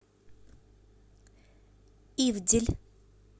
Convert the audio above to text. ивдель